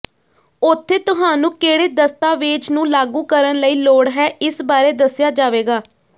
ਉੱਥੇ ਤੁਹਾਨੂੰ ਕਿਹੜੇ ਦਸਤਾਵੇਜ਼ ਨੂੰ ਲਾਗੂ ਕਰਨ ਲਈ ਲੋੜ ਹੈ ਇਸ ਬਾਰੇ ਦੱਸਿਆ ਜਾਵੇਗਾ